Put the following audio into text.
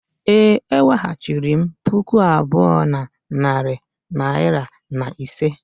Ee, eweghachiri m puku abụọ na narị naira na ise.